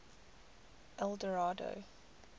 eldorado